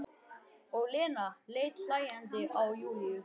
Og Lena leit hlæjandi á Júlíu.